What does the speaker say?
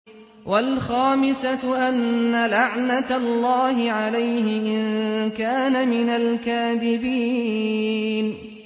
وَالْخَامِسَةُ أَنَّ لَعْنَتَ اللَّهِ عَلَيْهِ إِن كَانَ مِنَ الْكَاذِبِينَ